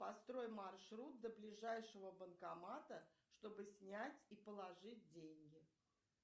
построй маршрут до ближайшего банкомата чтобы снять и положить деньги